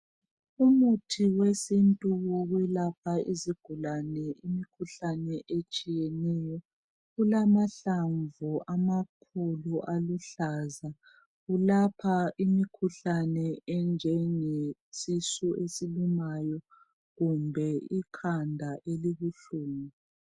Umuthi wesintu wokwelapha izigulane imikhuhlane etshiyeneyo ulamahlamvu amakhulu aluhlaza ulapha imikhuhlane enjenge sisu esilumayo kumbe ikhanda elibuhlungu.